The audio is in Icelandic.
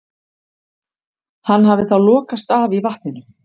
Hann hafi þá lokast af í vatninu.